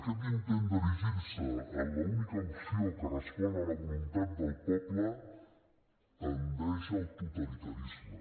aquest intent d’erigir se en l’única opció que respon a la voluntat del poble tendeix al totalitarisme